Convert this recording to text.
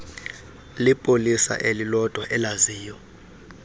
lipolisa elilodwa elaziyo